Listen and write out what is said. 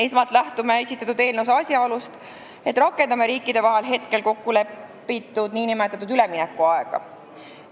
Esmalt lähtume esitatud eelnõu puhul asjaolust, et rakendame riikide vahel kokku lepitud üleminekuaega.